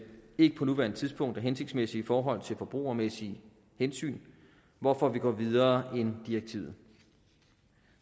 ikke på nuværende tidspunkt er hensigtsmæssig i forhold til forbrugermæssige hensyn hvorfor vi går videre end direktivet